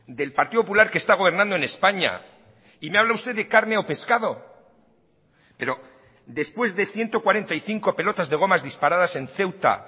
del partido popular que está gobernando en españa y me habla usted de carne o pescado pero después de ciento cuarenta y cinco pelotas de gomas disparadas en ceuta